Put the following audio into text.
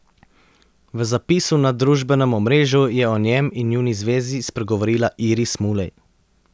V zapisu na družbenem omrežju je o njem in njuni zvezi spregovorila Iris Mulej.